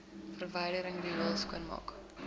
verwydering riool skoonmaak